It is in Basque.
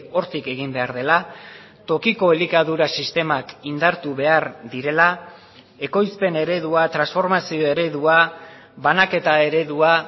hortik egin behar dela tokiko elikadura sistemak indartu behar direla ekoizpen eredua transformazio eredua banaketa eredua